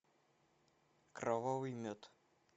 кровавый мед